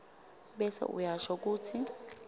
bese uyasho kutsi